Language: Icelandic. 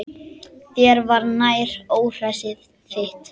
Þér var nær, óhræsið þitt.